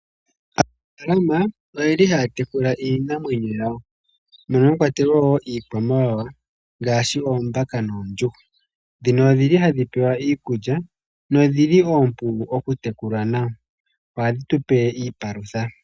Aanafaalama oye li haya tekula iinamwenyo yawo mwakwatelwa woo Iikwamawawa a ngaashi oombaka noondjuhwa. Odhili hadhi pewa iikulya noompu ku tekulwa nawa, noha dhi tupe iipalutha.